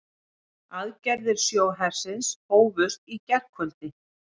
Aðgerðir sjóhersins hófust í gærkvöldi